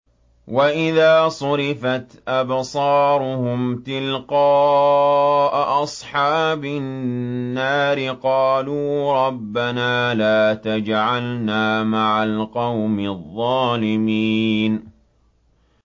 ۞ وَإِذَا صُرِفَتْ أَبْصَارُهُمْ تِلْقَاءَ أَصْحَابِ النَّارِ قَالُوا رَبَّنَا لَا تَجْعَلْنَا مَعَ الْقَوْمِ الظَّالِمِينَ